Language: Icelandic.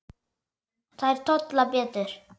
Þær tolla betur.